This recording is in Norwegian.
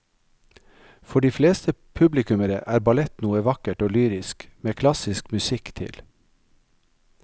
For de fleste publikummere er ballett noe vakkert og lyrisk med klassisk musikk til.